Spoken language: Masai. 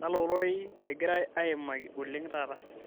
kalo rorei egirae aimaki oleng taata